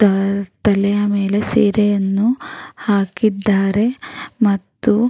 ತಾ ತಲೆಯ ಮೇಲೆ ಸೀರೆಯನ್ನು ಹಾಕಿದ್ದಾರೆ ಮತ್ತು --